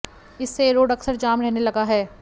इससे यह रोड अक्सर जाम रहने लगा है